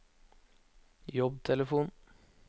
jobbtelefon